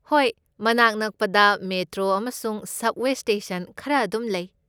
ꯍꯣꯏ, ꯃꯅꯥꯛ ꯅꯛꯄꯗ ꯃꯦꯇ꯭ꯔꯣ ꯑꯃꯁꯨꯡ ꯁꯕꯋꯦ ꯁ꯭ꯇꯦꯁꯟ ꯈꯔ ꯑꯗꯨꯝ ꯂꯩ꯫